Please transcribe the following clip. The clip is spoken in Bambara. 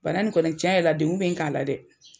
Bana nin kɔni cɛn yɛrɛ la dekun be n kan a la dɛ!